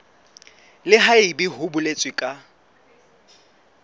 le haebe ho boletswe ka